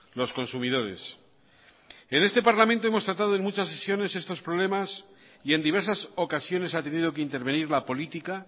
los consumidores en este parlamento hemos tratado en muchas sesiones estos problemas y en diversas ocasiones ha tenido que intervenir la política